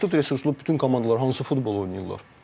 Məhdud resurslu bütün komandalar hansı futbol oynayırlar?